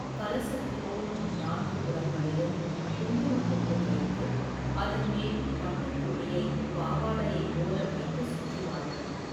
கலசத்துக்கும், நான்கு புறங்களிலும் குங்குமப் பொட்டு வைத்து, அதன் மேல் பட்டுத் துணியை, பாவாடையைப் போல, வைத்து சுற்றுவார்கள்.